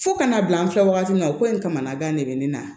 Fo kana bila an filɛ wagati min na o ko in kamanagan de bɛ ne na